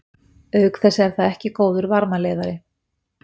Auk þess er það ekki góður varmaleiðari.